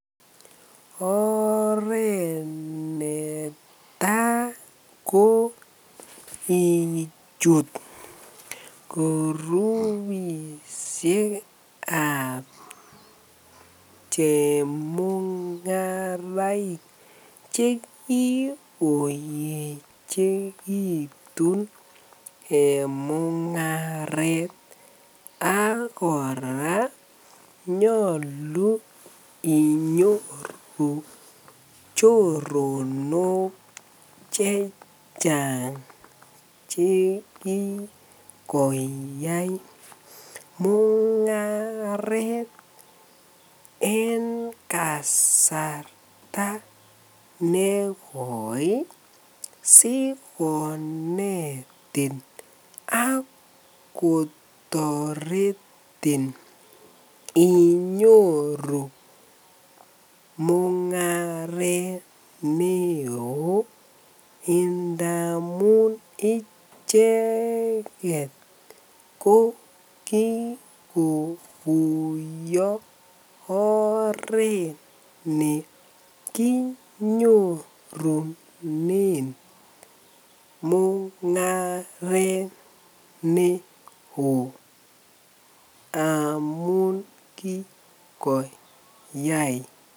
Oreet netaa ko ichut kurubishekab chemungaraik che kikoyechekitun en mungaret ak kora nyolu inyoru choronok chechang che kikoyai mungaret en kasarta nekoi sikonetin ak kotoretin inyoru mungaret neoo ndamun icheket ko kikokuyo oreet nekinyorunen mungaret neo amun kikoyai.